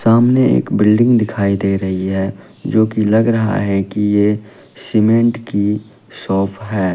सामने एक बिल्डिंग दिखाई दे रही है जो की लग रहा है कि ये सीमेंट की शॉप है।